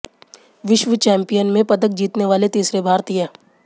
विश्व चैंपियन में पदक जीतने वाले तीसरे भारतीय